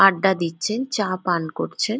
আড্ডা দিচ্ছে চা পান করছে।